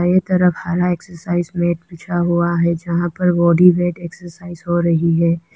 ये तरफ हरा एक्सरसाइज मैट बिछा हुआ है जहां पर बॉडी वेट एक्सरसाइज हो रही है।